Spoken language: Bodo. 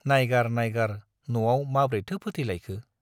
नाइगार नाइगार न'आव माब्रैथो फोथैलायखो!